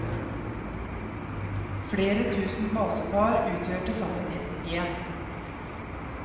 Flere tusen basepar utgjør tilsammen et gen.